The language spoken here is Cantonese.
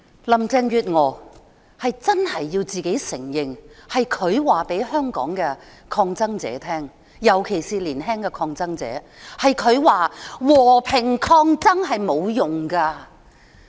林鄭月娥必須承認，是她告訴香港抗爭者，尤其是告訴年輕的抗爭者，和平抗爭沒有用。